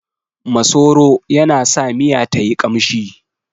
Masoro yana sa miya tayi ƙamshi